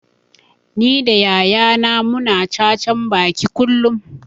Ni da yaya na mu na cacan baki kullum